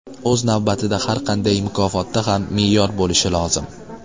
O‘z navbatida har qanday mukofotda ham me’yor bo‘lishi lozim.